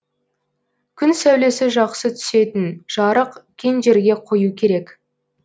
күн сәулесі жақсы түсетін жарық кең жерге қою керек